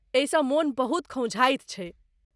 एहिसँ मन बहुत खौंझाइत छैक।